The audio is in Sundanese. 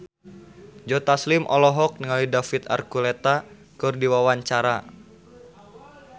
Joe Taslim olohok ningali David Archuletta keur diwawancara